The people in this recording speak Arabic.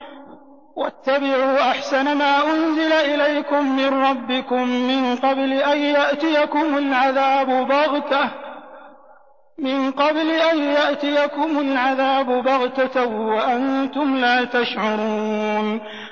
وَاتَّبِعُوا أَحْسَنَ مَا أُنزِلَ إِلَيْكُم مِّن رَّبِّكُم مِّن قَبْلِ أَن يَأْتِيَكُمُ الْعَذَابُ بَغْتَةً وَأَنتُمْ لَا تَشْعُرُونَ